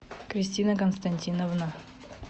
кристина константиновна